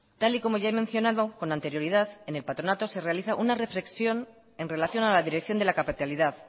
tal y como ya he mencionado con anterioridad en el patronato se realiza una reflexión en relación a la dirección de la capitalidad